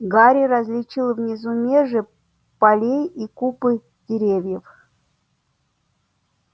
гарри различил внизу межи полей и купы деревьев